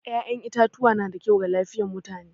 Yan itatuwa na da kyau ga lafiyar mutane.